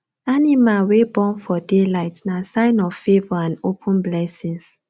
animal wey born for day light nah sign of favour and open blessings